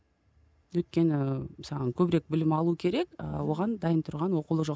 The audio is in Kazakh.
өйткені саған көбірек білім алу керек ы оған дайын тұрған оқулық жоқ